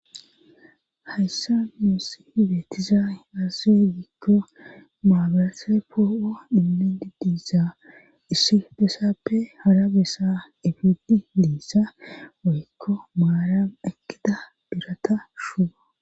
hayssa nuussi beetizay azaze gikko maabarase poo7o inmendi diisa issi besappe hara bessa ifidi liissa woykko maaran ekkida birata shuubo